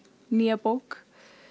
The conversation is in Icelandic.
nýja bók